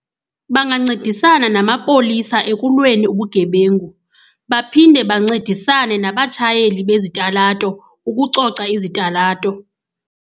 Bangancedisana namapolisa ekulweni ubugebengu, baphinde bancedisane nabatshayeli bezitalato ukucoca izitalato.